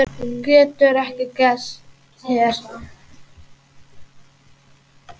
Getur ekki gerst hér.